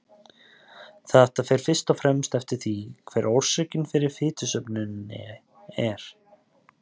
Þetta fer fyrst og fremst eftir því hver orsökin fyrir fitusöfnuninni er.